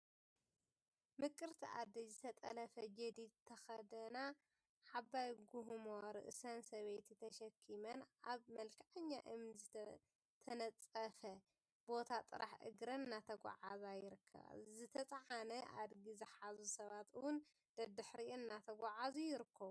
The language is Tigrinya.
ምቁርቲ አደይ ዝተጠለፈ ጀዲድ ዝተከደና ዓባይ ጉዕሞ ርእሰን ሰበይቲ ተሸኪመን አብ መልክዐኛ እምኒ ዝተነፀፈ ቦታ ጥራሕ እግረን እናተጓዓዛ ይርከባ፡፡ ዝተፀዓነ አድጊ ዝሓዙ ሰባት እውን ደድሕሪአን እናተጓዓዙ ይርከቡ፡፡